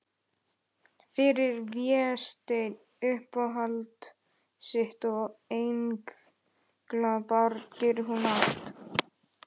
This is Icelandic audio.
Fyrir Véstein, uppáhald sitt og englabarn, gerir hún allt.